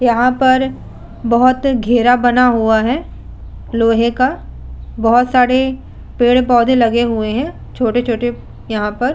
यहां पर बोहोत घेरा बना हुआ है। लोहे का बोहोत सारे पेड़-पौधे लगे हुए हैं। छोटे-छोटे यहां पर --